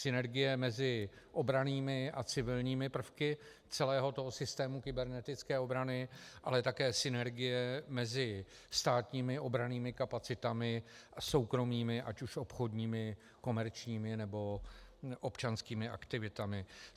Synergie mezi obrannými a civilními prvky celého toho systému kybernetické obrany, ale také synergie mezi státními obrannými kapacitami a soukromými, ať už obchodními, komerčními, nebo občanskými aktivitami.